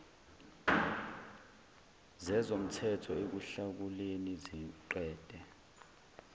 zezomthetho ekuhlakuleni siqede